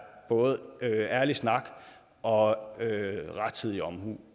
både ærlig snak og rettidig omhu